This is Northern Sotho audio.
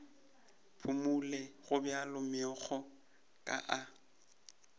phumole gobjalo megokgo ka a